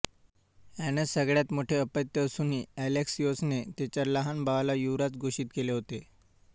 एना सगळ्यात मोठे अपत्य असूनही एलेक्सियोसने तिच्या लहान भावाला युवराज घोषित केले होते